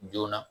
Joona